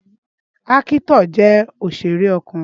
Ákítọ̀ jẹ́ òsèré ọkùnrin